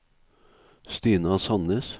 Stina Sannes